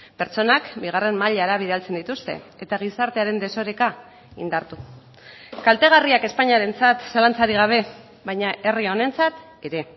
pertsonak bigarren mailara bidaltzen dituzte eta gizartearen desoreka indartu kaltegarriak espainiarentzat zalantzarik gabe baina herri honentzat ere